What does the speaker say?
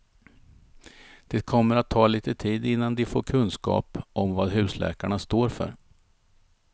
Det kommer att ta lite tid innan de får kunskap om vad husläkarna står för.